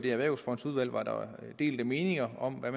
i erhvervsfondsudvalget var delte meninger om hvad